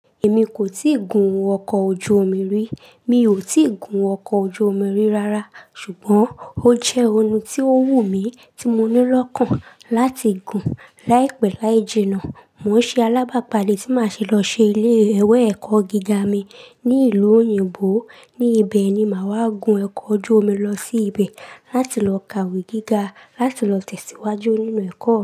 Èmi kò tíì gun ọkọ̀ ojú omi rí, mi ò tíì gun ọkọ̀ ojú omi rí rárá. Ṣùgbọ́n ó jẹ́ ohun tí ó wù mí tí mo ní lòkan láti gùn. Láìpẹ́ láì jìnnà, mò ń ṣe alábàpalé tí màá ṣe lọ ṣe ilé iwe ẹ̀kọ́ gíga mi ní ìlú òyìnbó. Ní ibẹ̀ ni màá wá gun ọkọ̀ ojú omi lọ sí ibẹ̀ láti lọ kàwé gíga láti lọ tẹ̀síwájú nínú ẹ̀kọ́